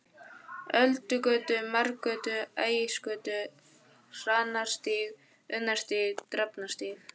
Öldugötu, Marargötu, Ægisgötu, Hrannarstíg, Unnarstíg, Drafnarstíg.